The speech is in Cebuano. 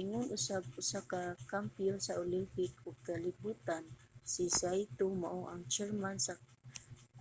ingon usab usa ka kampiyon sa olympic ug kalibutan si saito mao ang chairman sa